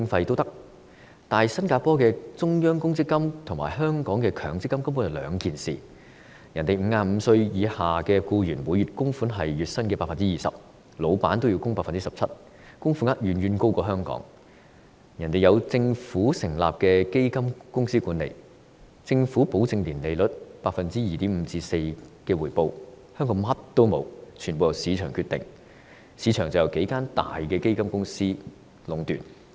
然而，新加坡的中央公積金和香港的強積金根本是兩回事，新加坡55歲以下僱員的每月供款是月薪 20%， 僱主也要供款 17%， 供款額遠高於香港；而且新加坡有政府成立的基金公司管理，由政府保證年利率 2.5% 至 4% 的回報，但香港卻甚麼也沒有，全部由市場決定，但市場則由數間大型基金公司壟斷。